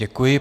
Děkuji.